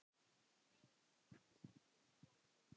Nei, alls ekki hlær Gunnar.